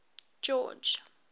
george